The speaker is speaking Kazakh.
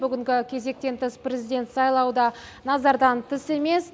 бүгінгі кезектен тыс президент сайлауы да назардан тыс емес